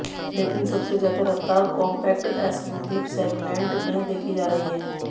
लेकिन सबसे ज्यादा रफ्तार कॉम्पैक्ट एसयूवी सेगमेंट में देखी जा रही है